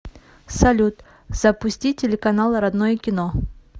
салют запусти телеканал родное кино